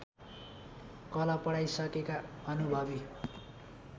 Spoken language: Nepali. कला पढाइसकेका अनुभवी